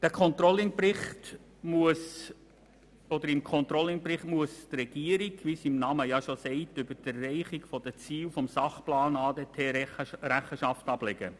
Im Controlling-Bericht muss die Regierung über die Erreichung der Ziele des Sachplans ADT Rechenschaft ablegen.